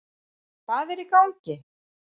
Hvað er í gangi?